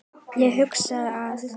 Ég hugsa að